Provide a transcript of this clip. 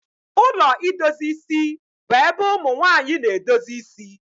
Ụlọ idozi isi bu ébé ụmụnwanyị na-edozi ịsị